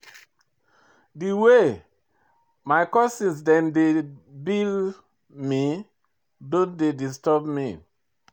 Di way my cousin dem dey bill me don dey disturb me.